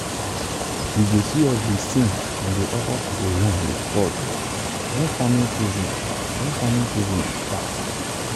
you go see us dey sing and dey offer cocoyam with salt when farming season when farming season dey start.